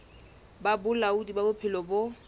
ba bolaodi ba bophelo bo